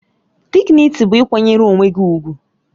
Dịgnịtị bụ ịkwanyere onwe gị ùgwù